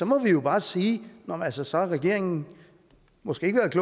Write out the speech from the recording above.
må vi jo bare sige at så så har regeringen måske ikke været